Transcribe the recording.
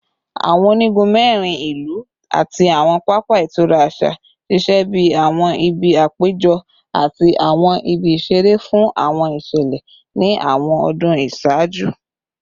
Awọn onigun mẹrin ilu ati awọn papa itura aṣa ṣiṣẹ bi awọn ibi apejọ ati awọn ibi isere fun awọn iṣẹlẹ ni awọn ọdun iṣaaju